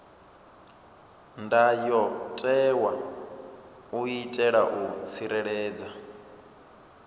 ndayotewa u itela u tsireledza